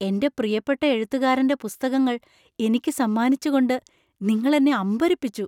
എൻ്റെ പ്രിയപ്പെട്ട എഴുത്തുകാരന്‍റെ പുസ്തകങ്ങൾ എനിക്ക് സമ്മാനിച്ചുകൊണ്ട് നിങ്ങൾ എന്നെ അമ്പരപ്പിച്ചു !